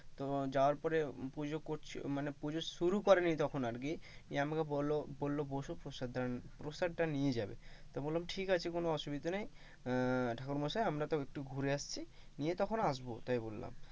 তো যাওয়ার পরে পুজো করছে, মানে পুজো শুরু করে নি তখন আর কি তো বললো বস প্রসাদ টা প্রসাদ টা নিয়ে যাবে তো বললাম কোনো অসুবিধা নেই, আহ ঠাকুরমশাই আমরা তো একটু ঘুরে আসছি নিয়ে তখন আসবো তাই বললাম,